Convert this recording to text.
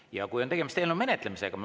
Ja kui on tegemist eelnõu menetlemisega …